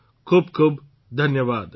ખૂબ ખૂબ ધન્યવાદ